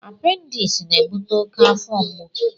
Appendis na-ebute oke afọ mgbu.